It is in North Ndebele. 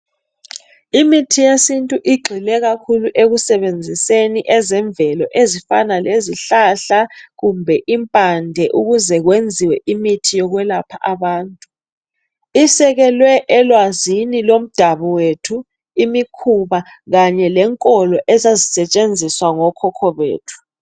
Imithi yesintu igxile kakhulu ekusebenziseni ezemvelo ezifana ezifana lezihlahla kumbe impande ukuze kwenziwe imithi yokwelapha abantu. Isekelwe elwazini lomdabu wethu, imikhuba kanye lenkolo ezazisetshenziswa ngokhokho bethu.